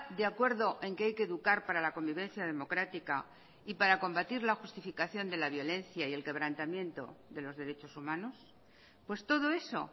de acuerdo en que hay que educar para la convivencia democrática y para combatir la justificación de la violencia y el quebrantamiento de los derechos humanos pues todo eso